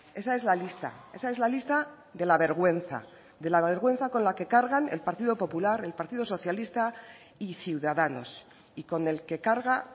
esa es la lista esa es la lista de la vergüenza de la vergüenza con la que cargan el partido popular el partido socialista y ciudadanos y con el que carga